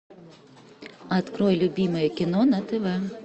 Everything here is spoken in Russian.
открой любимое кино на тв